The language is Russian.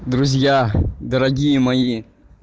друзья дорогие мои